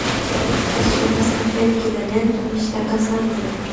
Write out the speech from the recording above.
хочу посмотреть киноленту мечта кассандры